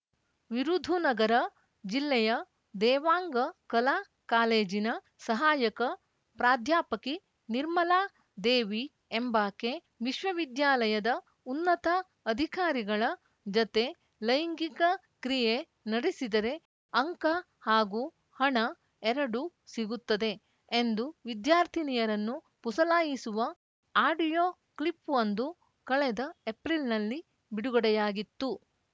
ವಿರುಧುನಗರ ಜಿಲ್ಲೆಯ ದೇವಾಂಗ ಕಲಾ ಕಾಲೇಜಿನ ಸಹಾಯಕ ಪ್ರಾಧ್ಯಾಪಕಿ ನಿರ್ಮಲಾ ದೇವಿ ಎಂಬಾಕೆ ವಿಶ್ವವಿದ್ಯಾಲಯದ ಉನ್ನತ ಅಧಿಕಾರಿಗಳ ಜತೆ ಲೈಂಗಿಕ ಕ್ರಿಯೆ ನಡೆಸಿದರೆ ಅಂಕ ಹಾಗೂ ಹಣ ಎರಡೂ ಸಿಗುತ್ತದೆ ಎಂದು ವಿದ್ಯಾರ್ಥಿನಿಯರನ್ನು ಪುಸಲಾಯಿಸುವ ಆಡಿಯೋ ಕ್ಲಿಪ್‌ವೊಂದು ಕಳೆದ ಏಪ್ರಿಲ್‌ನಲ್ಲಿ ಬಿಡುಗಡೆಯಾಗಿತ್ತು